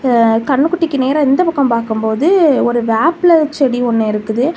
ஆ கன்னுக்குட்டிக்கு நேரா இந்த பக்கம் பாக்கும் போது ஒரு வேப்பில செடி ஒன்னு இருக்குது.